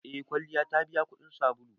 Eh kwalliya ta biya kudin sabulu.